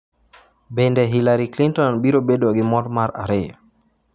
Bende Hillary Clinton biro bedo gi mor mar ariyo?